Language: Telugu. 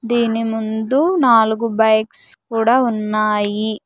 దీని ముందు నాలుగు బైక్స్ కూడా ఉన్నాయి.